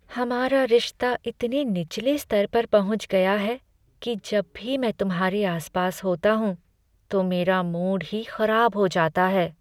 हमारा रिश्ता इतने निचले स्तर पर पहुंच गया है कि जब भी मैं तुम्हारे आसपास होता हूं, तो मेरा मूड ही खराब हो जाता है।